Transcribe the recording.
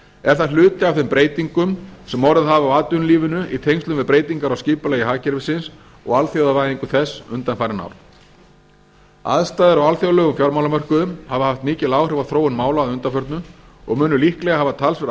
er það hluti af þeim breytingum sem orðið hafa á atvinnulífinu í tengslum við breytingar á skipulagi hagkerfisins og alþjóðavæðingu þess undanfarin ár aðstæður á alþjóðlegum fjármálamörkuðum hafa haft mikil áhrif á þróun mála að undanförnu og munu líklega hafa talsverð